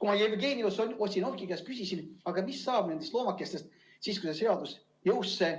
Kui ma Jevgeni Ossinovski käest küsisin, aga mis saab nendest loomakestest siis, kui see seadus jõusse